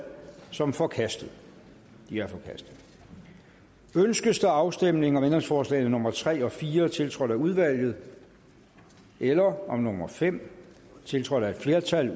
som forkastet det er forkastet ønskes der afstemning om ændringsforslagene nummer tre og fire tiltrådt af udvalget eller om ændringsforslag nummer fem tiltrådt af et flertal